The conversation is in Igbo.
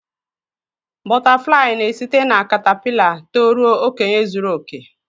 Bọtáfláyị n'esite na kàtápịla tó ruo okenye zuru oke